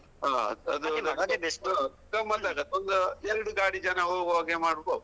ಹ್ಮ್ ಮಾತಾಡುವ ಒಂದು ಎರಡು ಗಾಡಿ ಜನ ಹೋಗುಹಾಗೆ ಮಾಡುದು.